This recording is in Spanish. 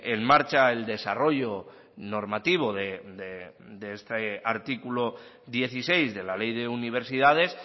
en marcha el desarrollo normativo de este artículo dieciséis de la ley de universidades